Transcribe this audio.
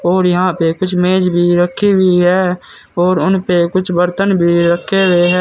और यहां पे कुछ मेज भी रखी हुई है और उनपे कुछ बर्तन भी रखे हुए हैं।